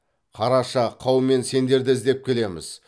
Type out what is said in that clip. қараша қаумен сендерді іздеп келеміз